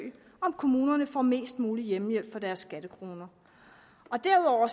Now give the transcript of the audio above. om kommunerne får mest mulig hjemmehjælp for deres skattekroner derudover